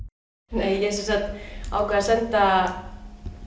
nei ég sem sagt ákvað að senda